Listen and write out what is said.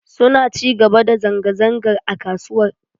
Suna ci gaba da zanga-zangar a kasuwar.